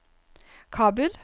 Kabul